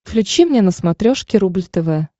включи мне на смотрешке рубль тв